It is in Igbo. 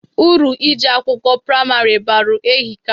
Uru ije akwụkwọ praimarị balụ ehika.